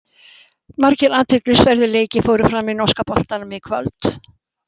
Margir athyglisverðir leikir fóru fram í norska boltanum í kvöld.